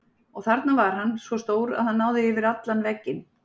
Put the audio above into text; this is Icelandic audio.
Og þarna var hann, svo stór að hann náði yfir allan vegginn.